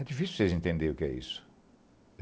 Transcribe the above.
É difícil vocês entenderem o que é isso.